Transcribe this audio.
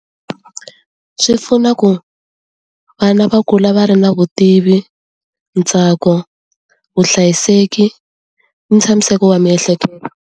Swi pfuna ku vana va kula va ri na vutivi ntsako vuhlayiseki ntshamiseko wa miehleketo.